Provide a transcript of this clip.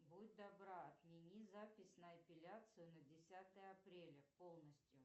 будь добра отмени запись на эпиляцию на десятое апреля полностью